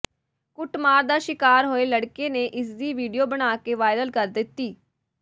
ਕੁੱਟਮਾਰ ਦਾ ਸ਼ਿਕਾਰ ਹੋਏ ਲੜਕੇ ਨੇ ਇਸਦੀ ਵੀਡੀਓ ਬਣਾ ਕੇ ਵਾਇਰਲ ਕਰ ਦਿੱਤੀ